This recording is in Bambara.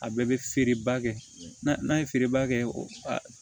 A bɛɛ bɛ feereba kɛ n'a ye feereba kɛ o